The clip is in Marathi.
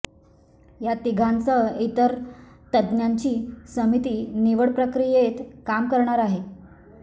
या तिघांसह इतर तज्ज्ञांची समिती निवडप्रक्रियेत काम करणार आहे